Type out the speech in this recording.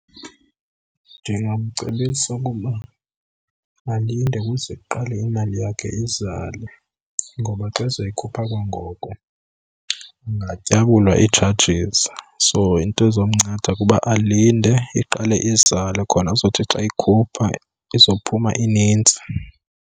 Ndingamcebisa ukuba alinde ukuze kuqale imali yakhe izale ngoba xa ezoyikhupha kwangoko angatyabulwa ii-charges. So into ezomnceda kuba alinde iqale izale khona azothi xa eyikhupha izophuma inintsi.